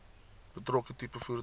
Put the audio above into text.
betrokke tipe voertuig